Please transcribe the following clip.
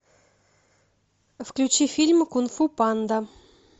включи фильм кунг фу панда